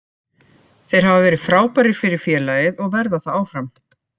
Þeir hafa verið frábærir fyrir félagið og verða það áfram.